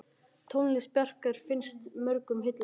Tónlist Bjarkar finnst mörgum heillandi.